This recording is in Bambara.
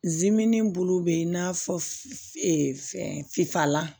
Zimɛni bulu bɛ i n'a fɔ fɛn f'a la